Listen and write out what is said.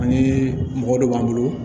Ani mɔgɔ dɔ b'an bolo